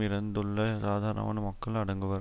இறந்துள்ள சாதாரணமான மக்கள் அடங்குவர்